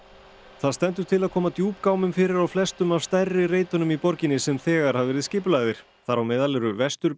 það stendur til að koma fyrir á flestum af stærri reitunum í borginni sem þegar hafa verið skipulagðir þar á meðal eru